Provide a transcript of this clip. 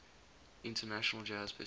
international jazz festival